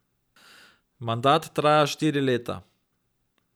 Mandat traja štiri leta.